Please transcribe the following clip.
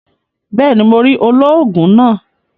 Béèni, Mó rí olóògùn náà